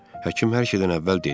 Həkim hər şeydən əvvəl dedi.